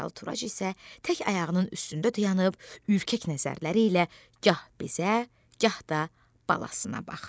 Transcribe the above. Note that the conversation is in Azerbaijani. Yaralı Turac isə tək ayağının üstündə dayanıb ürkək nəzərləri ilə gah bizə, gah da balasına baxırdı.